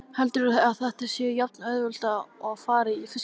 Heldurðu að þetta sé jafnauðvelt og að fara í fiskbúð?